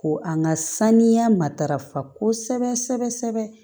Ko an ka saniya matarafa kosɛbɛ kosɛbɛ